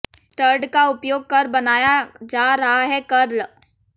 stud का उपयोग कर बनाया जा रहा है कर्ल